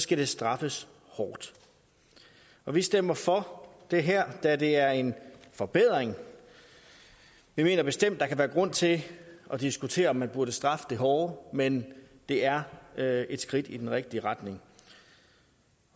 skal det straffes hårdt og vi stemmer for det her da det er en forbedring vi mener bestemt at der kan være grund til at diskutere om man burde straffe det hårdere men det er er et skridt i den rigtige retning